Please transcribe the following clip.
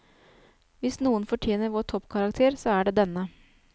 Hvis noen fortjener vår toppkarakter, så er det denne.